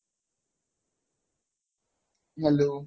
hello